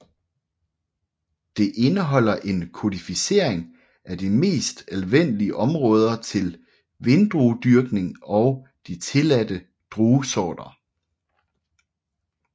Det indeholder en kodificering af de mest anvendelige områder til vindruedyrkning og de tilladte druesorter